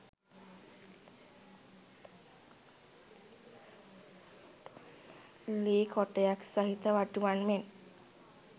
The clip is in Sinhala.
ලී කොටයක් සහිත වඩුවන් මෙන්